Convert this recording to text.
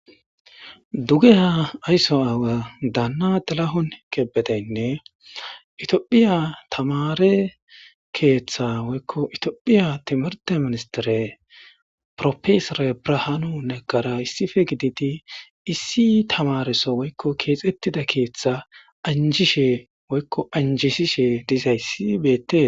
duge ha aysso aawa daanna delahon kebedeynne itiophiya tamare keeththa woykko itiophiya timirte ministire profesore brahaani neggara issife giditi issi tamariso woykko keexettida keeththa anjishe woykko anjishishe dizayssi beette